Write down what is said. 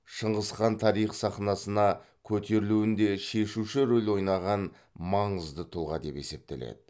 шыңғыс хан тарих сахнасына көтерілуінде шешуші рөл ойнаған маңызды тұлға деп есептеледі